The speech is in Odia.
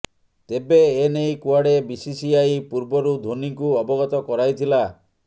ତେବେ ଏନେଇ କୁଆଡେ ବିସିସିଆଇ ପୂର୍ବରୁ ଧୋନୀଙ୍କୁ ଅବଗତ କରାଇଥିଲା